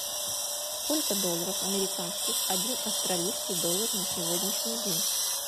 сколько долларов американских один австралийский доллар на сегодняшний день